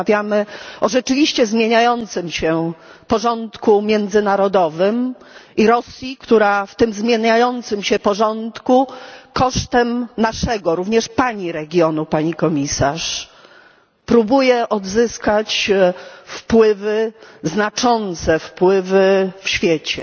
Rozmawiamy o rzeczywiście zmieniającym się porządku międzynarodowym i Rosji, która w tym zmieniającym się porządku kosztem naszego regionu również pani regionu, Pani Komisarz próbuje odzyskać znaczące wpływy w świecie.